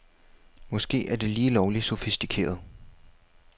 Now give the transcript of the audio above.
Måske er det lige lovligt sofistikeret.